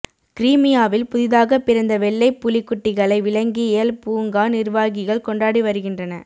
கிரீமியாவில் புதிதாகப் பிறந்த வெள்ளைப் புலிக் குட்டிகளை விலங்கியல் பூங்கா நிர்வாகிகள் கொண்டாடி வருகி